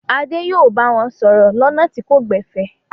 Adé yóò bá wọn sọ̀rọ̀ lọ́nà tí kò gbẹ̀fẹ̀!